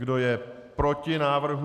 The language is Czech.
Kdo je proti návrhu?